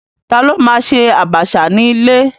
Ta ló ma ṣe àbàṣà ní ilé?